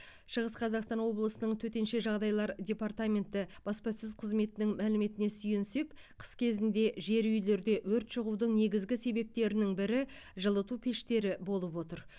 шығыс қазақстан облысының төтенше жағдайлар департаменті баспасөз қызметінің мәліметіне сүйенсек қыс кезінде жер үйлерде өрт шығудың негізгі себептерінің бірі жылыту пештері болып отыр